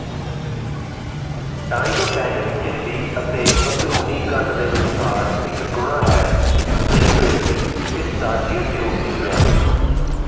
tympanic ਝਿੱਲੀ ਅਤੇ ਅੰਦਰੂਨੀ ਕੰਨ ਦੇ ਵਿਚਕਾਰ ਇਕ ਗੁਣਾ ਹੈ ਜਿਸ ਵਿਚ ਈਸਟਾਚੀਅਨ ਟਿਊਬ ਨਿਕਲਿਆ